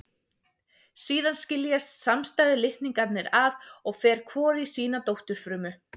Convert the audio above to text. Síðan skiljast samstæðu litningarnir að og fer hvor í sína dótturfrumu.